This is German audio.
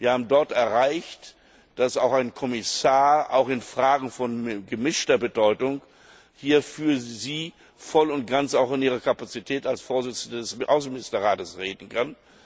Wir haben dort erreicht, dass auch ein Kommissar auch in Fragen von gemischter Bedeutung hier für sie voll und ganz auch in ihrer Kapazität als Vorsitzende des Außenministerrates reden kann.